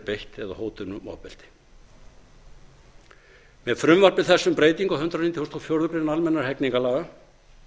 eða hótun um ofbeldi með frumvarpi þessu um breytingu á hundrað níutíu og fjórar greinar almennra hegningarlaga